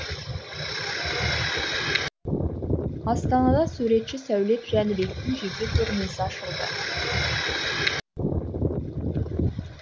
астанада суретші сәулет жәнібектің жеке көрмесі ашылды